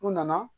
U nana